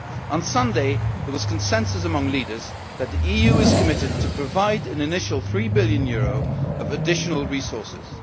week. On Sunday there was consensus among leaders that the EU is committed to providing an initial EUR 3 billion of additional resources.